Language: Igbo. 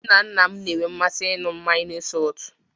Nna nna na-enwe mmasị ịṅụ mmanya n'isi ụtụtụ.